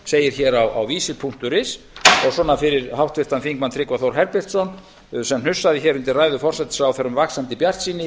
segir hér á visir punktur is og svona fyrir háttvirtan þingmann tryggva þór herbertsson sem hnussaði hér undir ræðu forsætisráðherra um vaxandi bjartsýni